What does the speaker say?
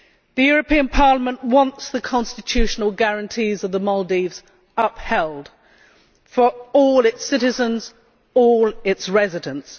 The European Parliament wants the constitutional guarantees of the Maldives upheld for all its citizens, all its residents.